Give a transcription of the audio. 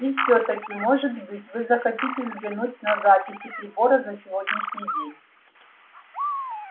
и всё-таки может быть вы захотите взглянуть на записи прибора за сегодняшний день